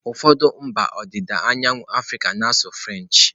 Ụfọdụ mba ọdịda anyanwụ Africa na-asụ French.